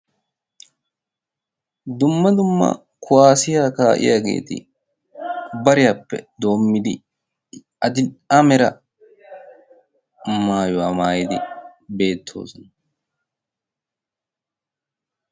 Dumma dumma kuwaasiya kaa'iyaageeti bariyaappe doommidi adil"e amera maayuwaa maayidi beettoosona.